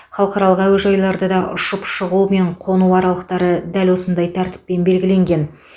халықаралық әуежайларда да ұшып шығу мен қону аралықтары дәл осындай тәртіппен белгіленген